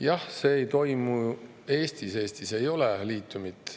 Jah, see ei toimu Eestis, Eestis ei ole liitiumit.